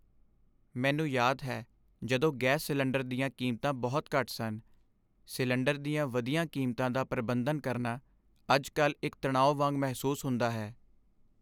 ਮੈਨੂੰ ਯਾਦ ਹੈ ਜਦੋਂ ਗੈਸ ਸਿਲੰਡਰ ਦੀਆਂ ਕੀਮਤਾਂ ਬਹੁਤ ਘੱਟ ਸਨ ਸਿਲੰਡਰ ਦੀਆਂ ਵਧੀਆਂ ਕੀਮਤਾਂ ਦਾ ਪ੍ਰਬੰਧਨ ਕਰਨਾ ਅੱਜ ਕੱਲ੍ਹ ਇੱਕ ਤਣਾਉ ਵਾਂਗ ਮਹਿਸੂਸ ਹੁੰਦਾ ਹੈ